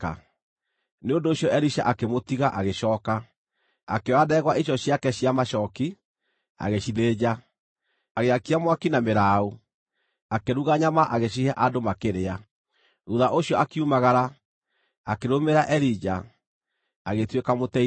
Nĩ ũndũ ũcio Elisha akĩmũtiga, agĩcooka. Akĩoya ndegwa icio ciake cia macooki, agĩcithĩnja. Agĩakia mwaki na mĩraũ, akĩruga nyama, agĩcihe andũ makĩrĩa. Thuutha ũcio akiumagara, akĩrũmĩrĩra Elija, agĩtuĩka mũteithia wake.